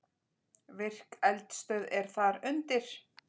Virk eldstöð er þar undir.